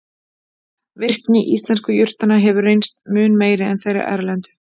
Virkni íslensku jurtanna hefur reynst mun meiri en þeirra erlendu.